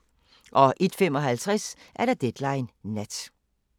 01:55: Deadline Nat